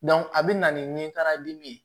a bɛ na ni nin karimi ye